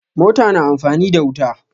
Mota na amfani da wuta.